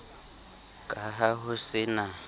ka ha ho se na